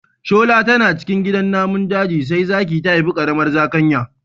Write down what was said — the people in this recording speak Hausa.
Shola tana cikin gidan namun daji sai zaki ta haifi ƙaramar zakanya.